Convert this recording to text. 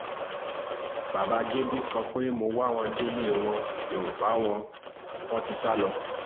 bàbá gébú sọ pé mo wá wọn délé wọn mi ò bá wọn wọn ti sá lọ